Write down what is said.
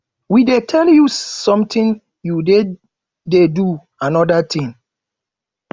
we dey tell you something you dey dey do another thing